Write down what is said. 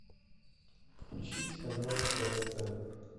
включить канал тв центр